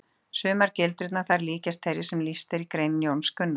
Sumar gildrurnar þar líkjast þeirri sem lýst er í grein Jóns Gunnars.